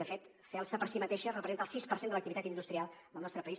de fet celsa per si mateixa representa el sis per cent de l’activitat industrial del nostre país